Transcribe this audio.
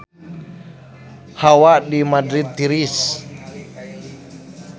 Hawa di Madrid tiris